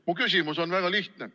Mu küsimus on väga lihtne.